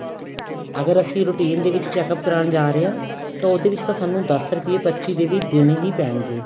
ਅਗਰ ਅਸੀਂ routine ਦੇ ਵਿੱਚ checkup ਕਰਾਨ ਜਾ ਰਹੇ ਆ ਤਾਂ ਉਹਦੇ ਵਿੱਚ ਤਾਂ ਸਾਨੂੰ ਦੱਸ ਰੁਪਏ ਪਰਚੀ ਦੇ ਵੀ ਦੇਣੇ ਹੀ ਪੈਣਗੇ